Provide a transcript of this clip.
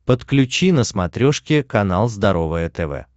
подключи на смотрешке канал здоровое тв